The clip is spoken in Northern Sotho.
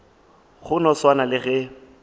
go no swana le ge